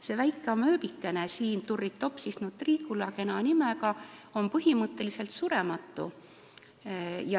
See väike amööbikene siin, turritopsis nutricula, kena nimega, on põhimõtteliselt surematu.